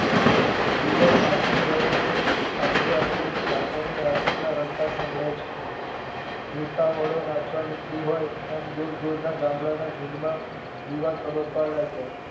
દિવશ આથમી ગયો છે એટલે આધે થી ઠાકરજની આરતીના રણકાર સંભળાય છે. ભૂતાવળો નાચવા નીકળીહોય એમ દૂર દૂર ના ગામડાના જૂંડમાં દિવા તબકવા લાગ્યા